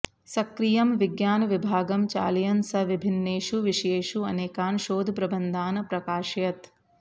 सक्रियं विज्ञानविभागं चालयन् सः विभिन्नेषु विषयेषु अनेकान् शोधप्रबन्धान् प्राकाशयत्